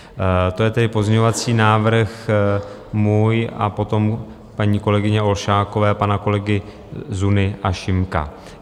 To je tedy pozměňovací návrh můj a potom paní kolegyně Olšákové, pana kolegy Zuny a Šimka.